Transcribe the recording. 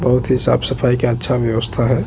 बहुत ही साफ-सफाई का अच्छा व्यवस्था हैं।